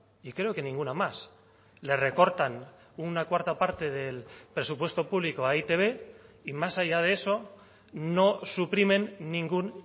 y creo que ninguna más le recortan una cuarta parte del presupuesto público a e i te be y más allá de eso no suprimen ningún